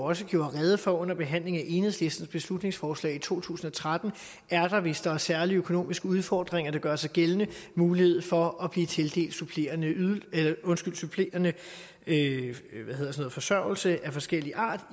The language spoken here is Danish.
også gjorde rede for under behandlingen af enhedslistens beslutningsforslag i to tusind og tretten er der hvis der er særlige økonomiske udfordringer der gør sig gældende mulighed for at blive tildelt supplerende supplerende forsørgelse af forskellig art